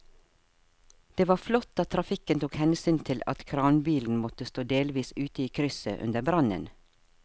Det var flott at trafikken tok hensyn til at kranbilen måtte stå delvis ute i krysset under brannen.